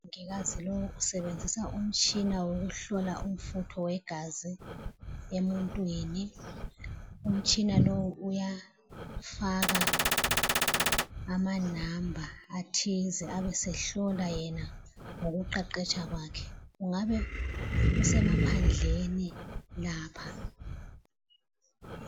Umongikazi lo usebenzisa umtshina wokuhlola umfutho wegazi emuntwini. Umtshina lo uyafaka amanumber athize abesehlola yena ngokuqeqetsha kwakhe. Kungabe kusemaphandleni lapha.